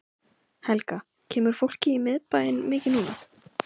Helga: Kemur fólki í miðbæinn mikið núna?